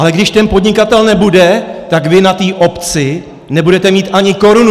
Ale když ten podnikatel nebude, tak vy na té obci nebudete mít ani korunu.